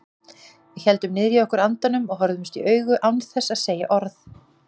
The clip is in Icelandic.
Við héldum niðri í okkur andanum og horfðumst í augu án þess að segja orð.